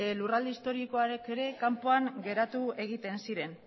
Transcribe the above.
lurralde historikoak ere kanpoan geratu egiten ziren